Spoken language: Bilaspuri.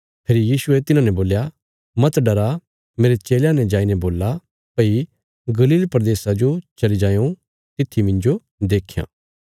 फेरी यीशुये तिन्हांने बोल्या मत डरा मेरे चेलयां ने जाईने बोल्ला भई गलील प्रदेशा जो चली जायों तित्थी मिन्जो देख्यां